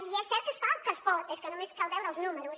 i és cert que es fa el que es pot és que només cal veure els números